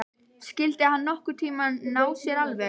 Skyldi hann nokkurn tíma ná sér alveg?